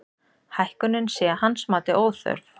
Hækkunin sé að hans mati óþörf